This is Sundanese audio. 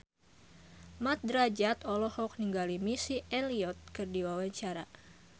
Mat Drajat olohok ningali Missy Elliott keur diwawancara